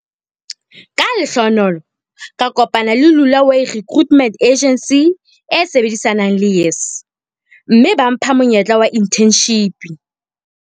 Ka lehlohonolo ka kopana le Lula way Recruitment Agency e sebedisanang le YES, mme ba mpha monyetla wa inthenshipi.